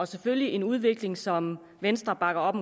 selvfølgelig en udvikling som venstre bakker op